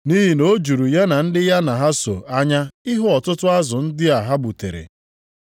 Nʼihi na o juru ya na ndị ya na ha so anya ịhụ ọtụtụ azụ ndị a ha gbutere.